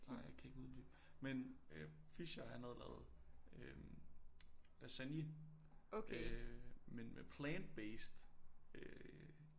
Nej jeg kan ikke uddybe men Fischer han havde lavet øh lasagne øh men med plant-based øh